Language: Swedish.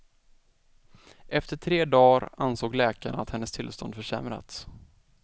Efter tre dagar ansåg läkarna att hennes tillstånd försämrats.